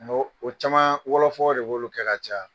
Mɛ o caman wɔlɔfɔ de b'olu kɛ ka caya.